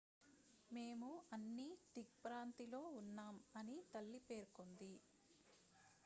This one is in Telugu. """మేము అన్ని దిగ్భ్రాంతిలో ఉన్నాం" అని తల్లి పేర్కొంది.